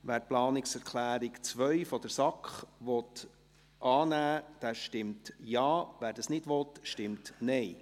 Wer die Planungserklärung 2 der SAK annehmen will, stimmt Ja, wer dies nicht will, stimmt Nein.